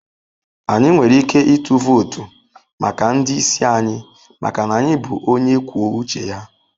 Anyị nwere ike ịtụ vootu maka ndị isi anyị maka na anyị bụ onye kwuo uche ya.